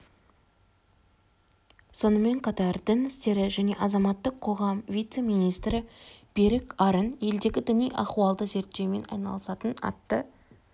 сонымен қатар дін істері және азаматтық қоғам вице-министрі берік арын елдегі діни ахуалды зерттеумен айналысатын атты